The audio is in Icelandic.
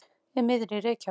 Í miðri Reykjavík.